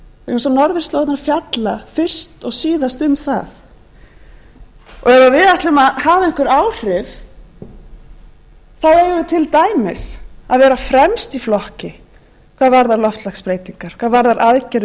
eins og norðurslóðirnar fjalla fyrst og síðast um það og ef við ætlum að hafa einhver áhrif þá eigum við til dæmis að vera fremst í flokki hvað varðar loftslagsbreytingar hvað varðar aðgerðir gegn loftslagsbreytingum